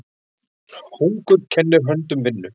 Hungur kennir höndum vinnu.